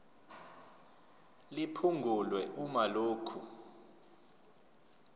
liphungulwe uma lokhu